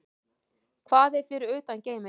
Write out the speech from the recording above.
Hvað er fyrir utan geiminn?